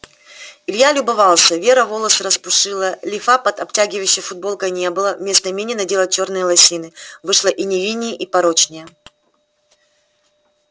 илья любовался вера волосы распушила лифа под обтягивающей футболкой не было вместо мини надела чёрные лосины вышло и невинней и порочней